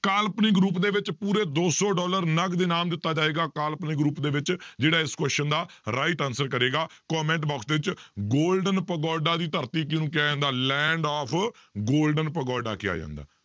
ਕਾਲਪਨਿਕ ਰੂਪ ਦੇ ਵਿੱਚ ਪੂਰੇ ਦੋ ਸੌ ਡਾਲਰ ਨਗਦ ਇਨਾਮ ਦਿੱਤਾ ਜਾਏਗਾ ਕਾਲਪਨਿਕ ਰੂਪ ਦੇ ਵਿੱਚ ਜਿਹੜਾ ਇਸ question ਦਾ right answer ਕਰੇਗਾ comment box ਦੇ ਵਿੱਚ golden ਪਗੋਡਾ ਦੀ ਧਰਤੀ ਕਿਹਨੂੰ ਕਿਹਾ ਜਾਂਦਾ land of golden ਪਗੋਡਾ ਕਿਹਾ ਜਾਂਦਾ,